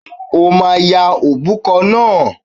O máa ya òbúkọ náà!